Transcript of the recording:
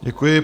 Děkuji.